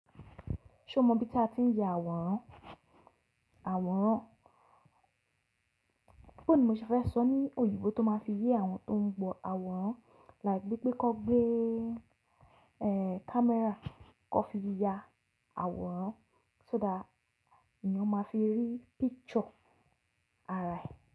Ṣé o mọ ibi tí a ti ń ya àwòrán? Àwòrán. Bó ni mo ṣe fẹ́ sọ ní òyìnbo tó máa fi yé àwọn tó ń gbọ́ àwòrán. Like gbé pé kọ́ gbé, eh, camera kọ́ fi ya àwòrán so that èèyàn máa fi rí picture ara ẹ̀.